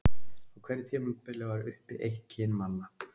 Á hverju tímabili var uppi eitt kyn manna.